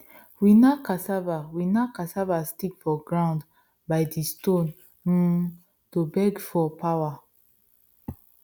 we knack cassava we knack cassava stick for ground by di stone um to beg for power